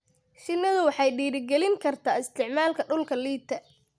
Shinnidu waxay dhiirigelin kartaa isticmaalka dhulka liita.